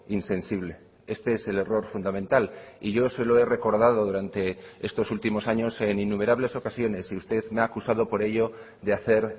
insensible este es el error fundamental y yo se lo he recordado durante estos últimos años en innumerables ocasiones y usted me ha acusado por ello de hacer